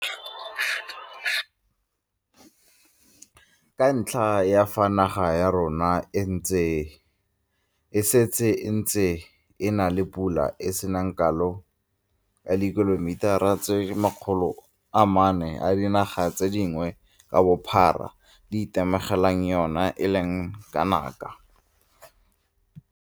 ka ntlha ya fa naga ya rona e setse e ntse e na le pula e e seng kalo e e ka lekanang dimililitara, ml, di le 450 ka ngwaga, fa e bapisiwa le eo dinaga tse dingwe ka bophara di itemogelang yona e e leng kanaka 860ml.